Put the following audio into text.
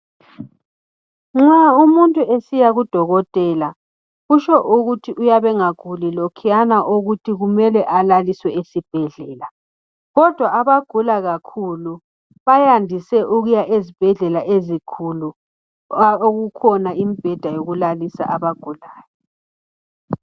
Nxa umuntu esiya kudokotela kutsho ukuthi uyabe engaguli lokhuyana ukuthi kumele alaliswe esibhedlela. Kodwa abagula kakhulu bayandise ukuya ezibhedlela ezikhulu okukhona imibheda yokulalisa abagulayo.